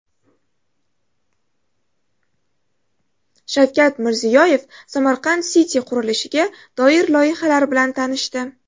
Shavkat Mirziyoyev Samarkand City qurilishiga doir loyihalar bilan tanishdi.